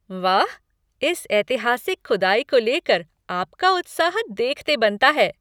वाह, इस ऐतिहासिक खुदाई को लेकर आपका उत्साह देखते बनता है!